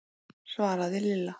svaraði Lilla.